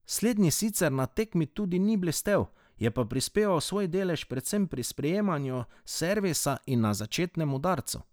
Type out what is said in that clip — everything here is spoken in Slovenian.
Slednji sicer na tekmi tudi ni blestel, je pa prispeval svoj delež predvsem pri sprejemu servisa in na začetnem udarcu.